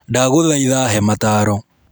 Ndagũthaitha he mataaro.